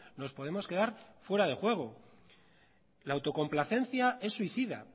nos podemos quedar fuera de juego la autocomplacencia es suicida